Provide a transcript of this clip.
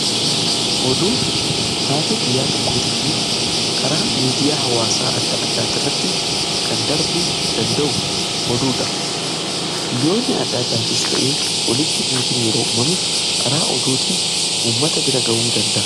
Oduu taatee guyyaa tokkootii fi karaa miidiyaa hawaasaa adda addaa irratti kan darbu danda'u oduudha. Biyyoonni adda addaatis ta'ee olitti buutiin yeroo uumame karaa oduutiin uummata bira ga'uu danda'a.